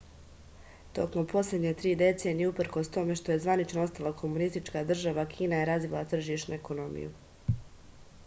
tokom poslednje tri decenije uprkos tome što je zvanično ostala komunistička država kina je razvila tržišnu ekonomiju